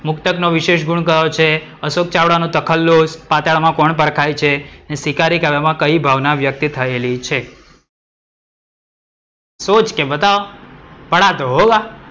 મુક્તકનો વિશેષ ગુણ કયો છે? અશોક ચાવડા નું તખલ્લુશ પાતાળમ અકોણ પરખાય છે? ને શિકારી કાવ્યમાં કઈ ભાવના વ્યક્ત થયેલી છે? सोच के बताओ पढ़ा तो होगा